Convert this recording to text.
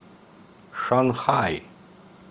шанхай